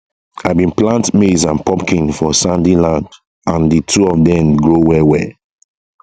i been plant maize and pumpkin for sandy land and the two of dem grow well well